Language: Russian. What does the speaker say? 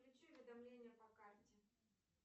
включи уведомления по карте